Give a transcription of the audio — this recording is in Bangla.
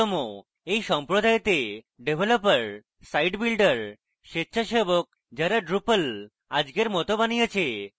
এই সম্প্রদায়তে ডেভেলপার site builders স্বেচ্ছাসেবক যারা drupal আজকের মতো বানিয়েছে